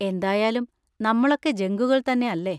എന്തായാലും നമ്മളൊക്കെ ജങ്കുകൾ തന്നെ അല്ലേ?